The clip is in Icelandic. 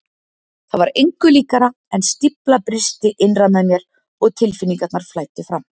Það var engu líkara en stífla brysti innra með mér og tilfinningarnar flæddu fram.